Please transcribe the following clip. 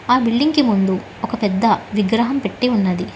ఆ బిల్డింగ్ కి ముందు ఒక పెద్ద విగ్రహం పెట్టి ఉన్నది.